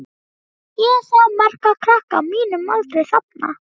Ég sá marga krakka á mínum aldri þarna.